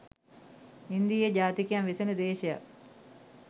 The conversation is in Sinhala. ඉන්දීය ජාතිකයන් වෙසෙන දේශයක්